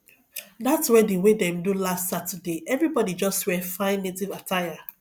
dat wedding wey dem do last saturday everybodi just wear fine native attire